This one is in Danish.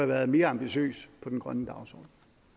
været mere ambitiøs på den grønne dagsorden